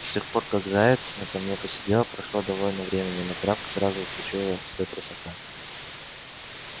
с тех пор как заяц на камне посидел прошло довольно времени но травка сразу причуяла след русака